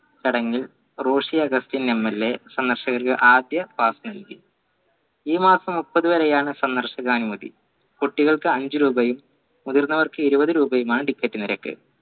ചടങ്ങിൽ Roshy Augustine MLA സന്ദർശകർ ആദ്യ pass നൽകി ഈ മാസം മുപ്പത് വരെയാണ് സന്ദർശകനുമതി കുട്ടികൾക്ക് അഞ്ചു രൂപയും മുതിർന്നവർക്ക് ഇരുപത് രൂപയുമാണ് ticket നിരക്ക്